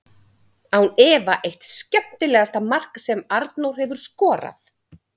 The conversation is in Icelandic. Án efa eitt skemmtilegasta mark sem Arnór hefur skorað!